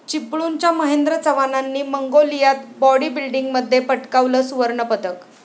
चिपळूणच्या महेंद्र चव्हाणांनी मंगोलियात बाॅडीबिल्डिंगमध्ये पटकावलं सुवर्णपदक